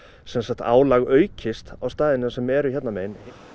álag aukist á staðina sem eru hérna megin